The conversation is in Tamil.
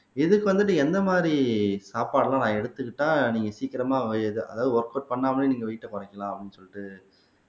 இதுக்கு வந்துட்டு எந்த மாதிரி சாப்பாடெல்லாம் நான் எடுத்துக்கிட்டா நீங்க சீக்கிரமா அதாவது ஒர்கவுட் பண்ணாமலே நீங்க வெயிட்ட குறைக்கலாம் அப்படின்னு சொல்லிட்டு